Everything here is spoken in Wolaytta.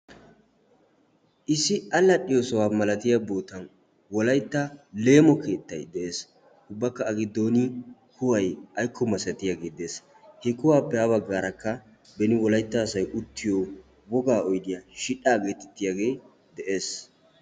Issi allaxxiyo sohuwa malatiya bootan wolaytta leemo keettay dees, ubbakka A giddon kuway aykko misatiyagee dees, he kuwaappe ha baggarakka beni wolaytta asay uttiyo wogga oydiya shidhdha geettetiyagee dees.